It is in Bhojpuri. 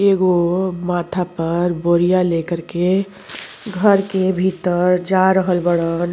एगो माथा पर बोरिया लेकर के घर के भीतर जा रहल बाड़न।